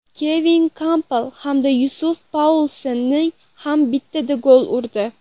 Kevin Kampl hamda Yussuf Poulsen ham bittadan gol urdi.